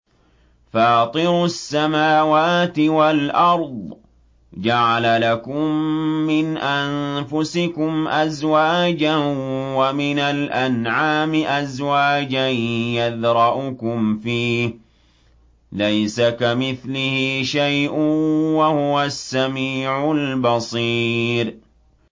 فَاطِرُ السَّمَاوَاتِ وَالْأَرْضِ ۚ جَعَلَ لَكُم مِّنْ أَنفُسِكُمْ أَزْوَاجًا وَمِنَ الْأَنْعَامِ أَزْوَاجًا ۖ يَذْرَؤُكُمْ فِيهِ ۚ لَيْسَ كَمِثْلِهِ شَيْءٌ ۖ وَهُوَ السَّمِيعُ الْبَصِيرُ